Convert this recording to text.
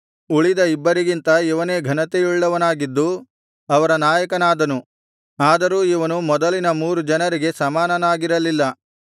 ಉಳಿದ ಇಬ್ಬರಿಗಿಂತ ಇವನೇ ಘನತೆಯುಳ್ಳವನಾಗಿದ್ದು ಅವರ ನಾಯಕನಾದನು ಆದರೂ ಇವನು ಮೊದಲಿನ ಮೂರು ಜನರಿಗೆ ಸಮಾನನಾಗಿರಲಿಲ್ಲ